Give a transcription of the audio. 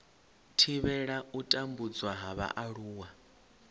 thivhela u tambudzwa ha vhaaluwa